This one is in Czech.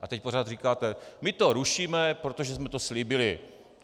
A teď pořád říkáte: my to rušíme, protože jsme to slíbili.